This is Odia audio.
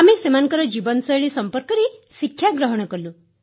ଆମେ ସେମାନଙ୍କ ଜୀବନଶୈଳୀ ସମ୍ପର୍କରେ ଶିକ୍ଷାଗ୍ରହଣ କଲୁ